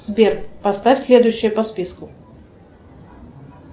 сбер поставь следующее по списку